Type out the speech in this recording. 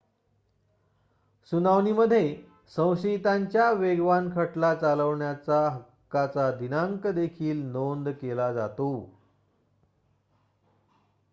सुनावणीमध्ये संशयितांच्या वेगवान खटला चालवण्याच्या हक्काचा दिनांक देखील नोंद केला जातो